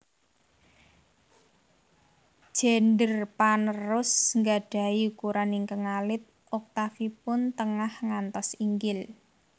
Gender panerus nggadhahi ukuran ingkang alit oktafipun tengah ngantos inggil